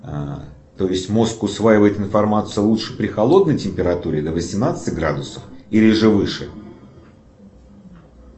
то есть мозг усваивает информацию лучше при холодной температуре до восемнадцати градусов или же выше